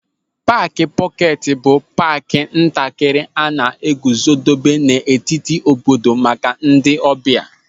Paaki pọketi bụ paaki ntakịrị a na-eguzobe n'etiti obodo maka ndị ọbịa.